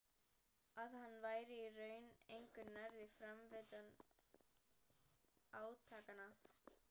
Að hann væri í raun engu nær um framvindu átakanna.